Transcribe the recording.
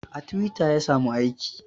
A twitter ya samu aiki